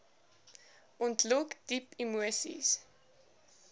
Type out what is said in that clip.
ontlok diep emoseis